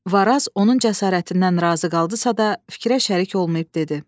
Varaz onun cəsarətindən razı qaldısa da, fikrə şərik olmayıb dedi: